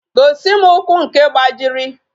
Gosi m ụkwụ nke gbajiri